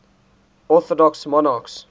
orthodox monarchs